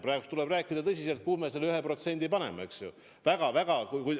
Praegu tuleb tõsiselt arutada, kuhu me selle 1% SKP-st paneme, eks ju.